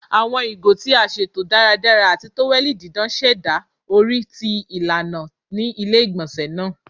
Awọn igo ti a ṣeto daradara ati toweli didan ṣẹda ori ti ilana ni ile-igbọnsẹ naa